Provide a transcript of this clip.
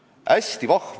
Palun, Eevi Paasmäe!